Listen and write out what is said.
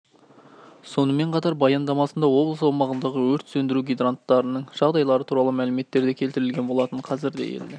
сонымен қатар баяндамасында облыс аумағындағы өрт сөндіру гидранттарының жағдайлары туралы мәліметтер де келтірілген болатын қазірде елді